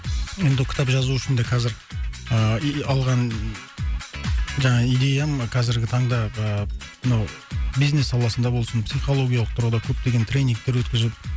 енді ол кітап жазу үшін де қазір ыыы и алған жаңа идеяң мына қазіргі таңдағы мынау бизнес саласында болсын психологиялық тұрғыда көптеген тренингтер өткізіп